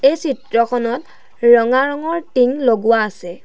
এই চিত্ৰখনত ৰঙা ৰঙৰ টিং লগোৱা আছে।